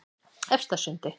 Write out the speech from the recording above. Efstasundi